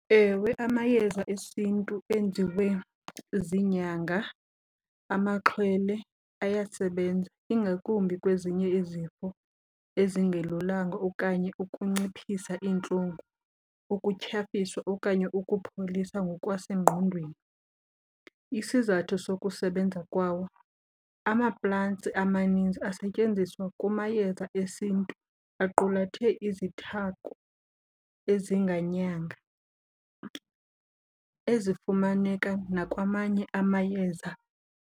Ewe, amayeza esiNtu enziwe ziinyanga amaxhwele ayasebenza, ingakumbi kwezinye izifo ezingelulanga okanye ukunciphisa iintlungu, ukutyhafiswa okanye ukupholisa ngokwasengqondweni. Isizathu sokusebenza kwawo amaplantsi amaninzi asetyenziswa kumayeza esiNtu aqulathe izithako ezinganyanga, ezifumaneka nakwamanye amayeza.